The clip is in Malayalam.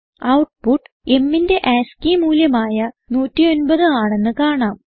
ഔട്ട്പുട്ട് mന്റെ ആസ്കി മൂല്യമായ 109 ആണെന്ന് കാണാം